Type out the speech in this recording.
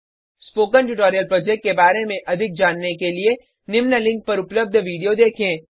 spoken tutorial project के बारे में अधिक जानने के लिए निम्न लिंक पर उपलब्ध विडियो देखें